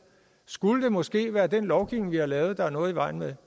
skulle det måske være den lovgivning vi har lavet der er noget i vejen med